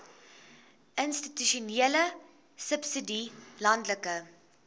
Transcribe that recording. institusionele subsidie landelike